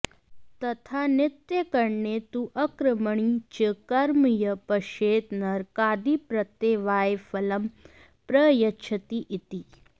तथा नित्याकरणे तु अकर्मणि च कर्म यः पश्येत् नरकादिप्रत्यवायफलं प्रयच्छति इति